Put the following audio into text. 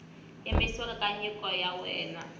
yimisiwa ka nyiko ya wena